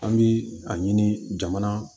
An bi a ɲini jamana